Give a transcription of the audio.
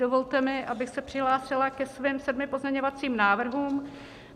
Dovolte mi, abych se přihlásila ke svým sedmi pozměňovacím návrhům.